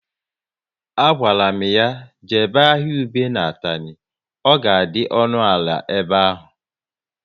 A gwara m ya jebe ahịa ube na Atani, ọ ka dị ọnụ ala ebe ahụ